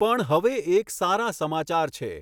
પણ હવે એક સારા સમાચાર છે.